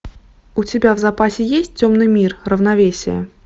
у тебя в запасе есть темный мир равновесие